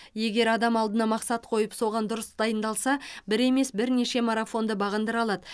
егер адам алдына мақсат қойып соған дұрыс дайындалса бір емес бірнеше марафонды бағындыра алады